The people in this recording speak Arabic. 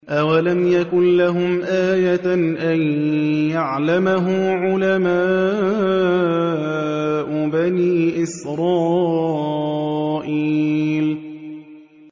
أَوَلَمْ يَكُن لَّهُمْ آيَةً أَن يَعْلَمَهُ عُلَمَاءُ بَنِي إِسْرَائِيلَ